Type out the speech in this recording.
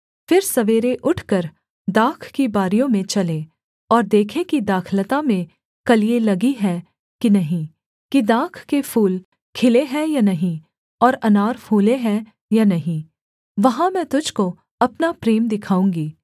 फिर सवेरे उठकर दाख की बारियों में चलें और देखें कि दाखलता में कलियाँ लगी हैं कि नहीं कि दाख के फूल खिले हैं या नहीं और अनार फूले हैं या नहीं वहाँ मैं तुझको अपना प्रेम दिखाऊँगी